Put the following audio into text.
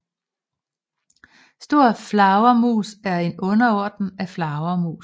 Storflagermus er en underorden af flagermus